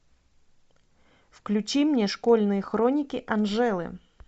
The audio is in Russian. включи мне школьные хроники анжелы